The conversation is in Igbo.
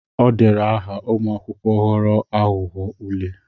O dere aha ụmụakwụkwọ ghọrọ aghụghọ ule.